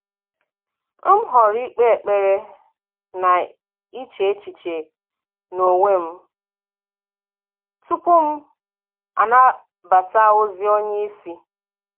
M họrọ̀ ị̀kpe ekpere na iche echiche n’onwe m tupu m anabata ozi onye isi.